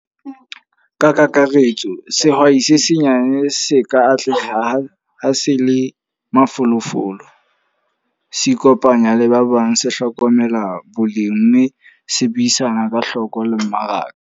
Ka kakaretso, sehwai se senyane se ka atleha ha se le mafolofolo, se ikopanya le ba bang, se hlokomela boleng. Mme se buisana ka hloko le mmaraka.